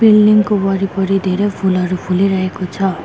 Building को वरिपरि धेरैं फूलहरु फुलीरहेको छ।